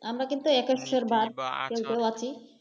আমরা কিন্তু